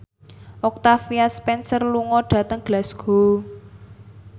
Octavia Spencer lunga dhateng Glasgow